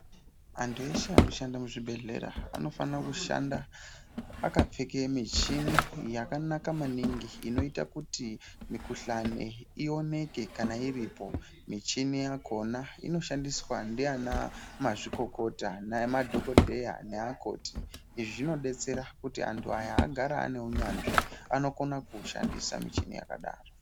Anhu eshe anoshanda muzvibhedhlera anofana kushanda akapfeka michini yakanaka maningi inoita kuti mikhuhlani ioneke kana iripo, michini yakhona inoshandiswa ndiana mazvikokota, nemadhokodheya neakoti izvi zvinodetsera kuti anhu aya agare ane unyanzvi, anokona kuushandisa michini yakadaro.